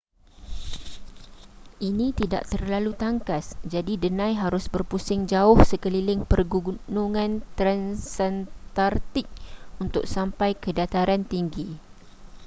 ini tidak terlalu tangkas jadi denai harus berpusing jauh sekeliling pergunungan transantartik untuk sampai ke dataran tinggi